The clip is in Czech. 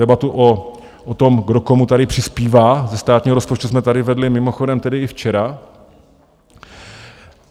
Debatu o tom, kdo komu tady přispívá ze státního rozpočtu, jsme tady vedli mimochodem tedy i včera.